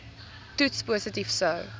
toets positief sou